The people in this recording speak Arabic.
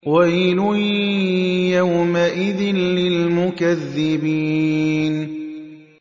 وَيْلٌ يَوْمَئِذٍ لِّلْمُكَذِّبِينَ